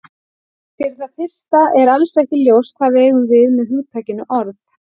Fyrir það fyrsta er alls ekki ljóst hvað við eigum við með hugtakinu orð.